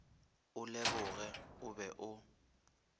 o leboge o be o